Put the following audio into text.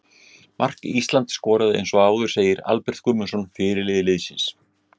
Mark Ísland skoraði eins og áður segir Albert Guðmundsson, fyrirliði liðsins.